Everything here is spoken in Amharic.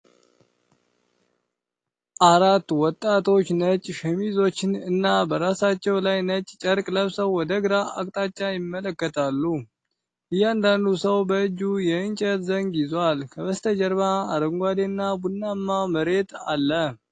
አራት ወጣቶች ነጭ ሸሚዞችን እና በራሳቸው ላይ ነጭ ጨርቅ ለብሰው ወደ ግራ አቅጣጫ ይመለከታሉ። እያንዳንዱ ሰው በእጁ የእንጨት ዘንግ ይዟል፤ ከበስተጀርባ አረንጓዴ እና ቡናማ መሬት አለ።